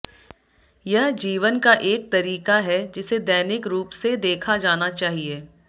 यह जीवन का एक तरीका है जिसे दैनिक रूप से देखा जाना चाहिए